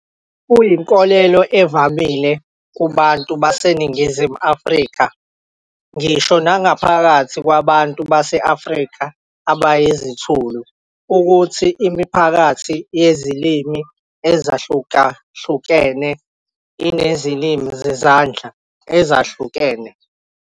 Kuyinkolelo evamile kubantu baseNingizimu Afrika, ngisho naphakathi kwabantu baseNingizimu Afrika abayizithulu, ukuthi imiphakathi yezilimi ezahlukahlukene inezilimi zezandla ezehlukene.